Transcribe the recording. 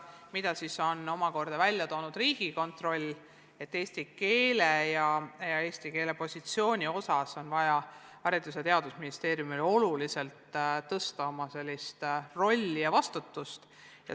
Riigikontroll on omakorda öelnud, et eesti keele ja selle positsiooni suhtes on vaja Haridus- ja Teadusministeeriumil oma senist rolli ja vastutust tuntavalt tõsta.